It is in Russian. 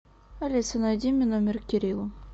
алиса найди мне номер кирилла